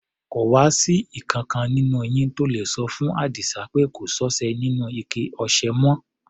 Kò wá sí ìkankan nínú yín tó le sọ fún Àdísá pé kò sọ́ṣẹ nínú ike ọṣẹ mọ́?